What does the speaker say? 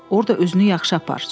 Orda özünü yaxşı apar.